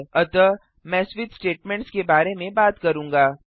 अतः मैं switch statements के बारे में बात करूंगा